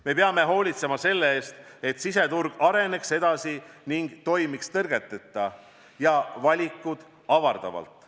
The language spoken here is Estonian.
Me peame hoolitsema selle eest, et siseturg areneks edasi ning toimiks tõrgeteta ja valikuid avardavalt.